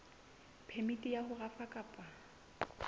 phemiti ya ho rafa kapa